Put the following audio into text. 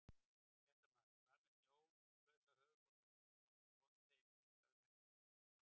Fréttamaður: Hvað með snjólausa höfuðborgarbúa, áttu von á þeim hingað um helgina?